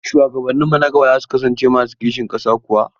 Shuwagabanninmu na gaba za su kasance masu kishin ƙasa kuwa?